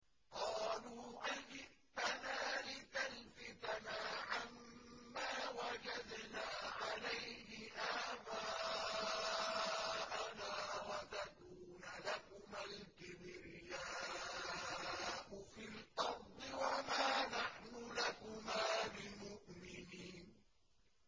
قَالُوا أَجِئْتَنَا لِتَلْفِتَنَا عَمَّا وَجَدْنَا عَلَيْهِ آبَاءَنَا وَتَكُونَ لَكُمَا الْكِبْرِيَاءُ فِي الْأَرْضِ وَمَا نَحْنُ لَكُمَا بِمُؤْمِنِينَ